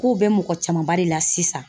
K'o bɛ mɔgɔ camanba de la sisan